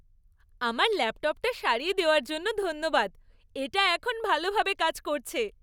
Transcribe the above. আমার ল্যাপটপটা সারিয়ে দেওয়ার জন্য ধন্যবাদ। এটা এখন ভালোভাবে কাজ করছে।